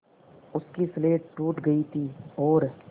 उसकी स्लेट टूट गई थी और